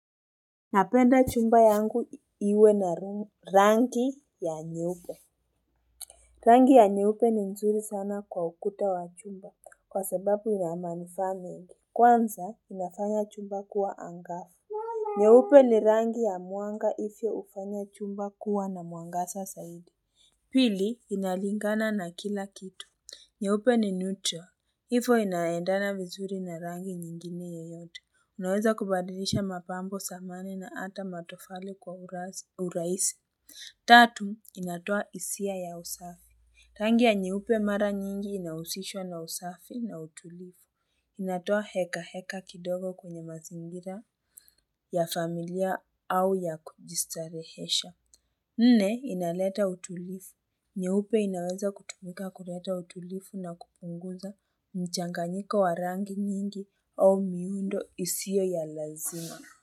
Napenda chumba yangu iwe na rangi ya nyeupe Rangi ya nyeupe ni nzuri sana kwa ukuta wa chumba kwa sababu ya manufaa mengi, Kwanza inafanya chumba kuwa angasa nyeupe ni rangi ya muanga ife ufanya chumba kuwa na muangasa saidi Pili inalingana na kila kitu nyeupe ni neutral Hivo inaendana vizuri na rangi nyingine yeyote. Unaweza kubadilisha mapambo zamani na ata matofali kwa urahisi. Tatu, inatoa isia ya usafi. Rangi ya nyeupe mara nyingi inausishwa na usafi na utulifu. Inatoa heka heka kidogo kwenye mazingira ya familia au ya kujistarehesha. Nne, inaleta utulifu. Nyeupe inaweza kutumika kuleta utulifu na kupunguza mchanganyiko wa rangi nyingi au miundo isio ya lazima.